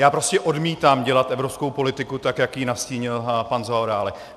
Já prostě odmítám dělat evropskou politiku tak, jak ji nastínil pan Zaorálek.